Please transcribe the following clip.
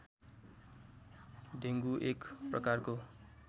dengue एक प्रकारको